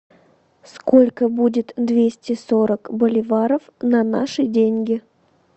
сколько будет двести сорок боливаров на наши деньги